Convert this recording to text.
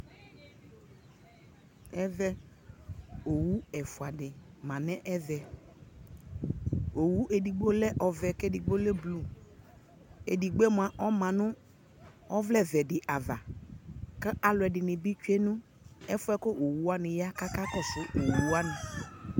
ɛvɛ ɔwʋ ɛƒʋa di manʋ ɛvɛ, ɔwʋ ɛdigbɔ lɛ ɔvɛɛ kʋ ɛdigbɔ ɔlɛ blʋe, ɛdigbɔɛ mʋa ɔma nʋ ɔvlɛ vɛɛ di aɣa kʋ alʋɛdini bi atwɛ nʋ ɛfʋɛ ɔwʋ wani ya kʋ akakɔsʋ ɔwʋ wani